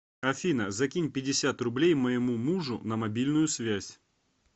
афина закинь пятьдесят рублей моему мужу на мобильную связь